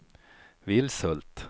Vilshult